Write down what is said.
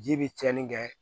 Ji bɛ tiɲɛni kɛ